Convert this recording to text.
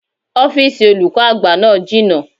Ọ́fìsìn olùkọ́ àgbà náà jìnà